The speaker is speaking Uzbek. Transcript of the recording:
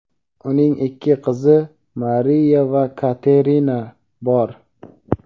Uning ikki qizi (Mariya va Katerina) bor.